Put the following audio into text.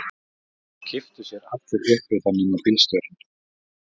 Það kipptu sér allir upp við það nema bílstjórinn.